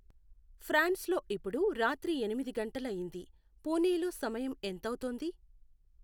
ఫ్రాన్స్లో ఇప్పుడు రాత్రి ఎనిమిది గంటలయ్యింది పుణెలో సమయం ఎంతవుతోంది